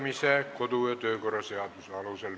Menetleme neid edasi kodu- ja töökorra seaduse alusel.